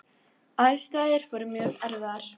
Aðstæður voru mjög erfiðar.